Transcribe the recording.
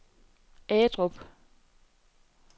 Agedrup